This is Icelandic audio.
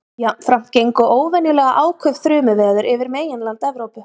Jafnframt gengu óvenjulega áköf þrumuveður yfir meginland Evrópu.